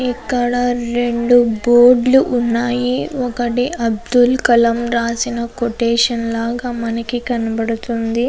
ఇక్కడ రెండు బోర్డు లు ఉన్నాయి. ఒకటి అబ్దుల్ కలాం రాసిన కొటేషన్ లాగా మనకి కనబడుతుంది.